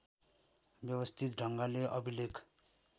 व्यवस्थित ढङ्गले अभिलेख